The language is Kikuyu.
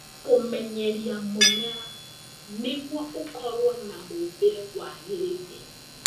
Kũmenyeria mũmera nĩguo ũkorwo na mũũmbĩre wagĩrĩire